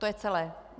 To je celé.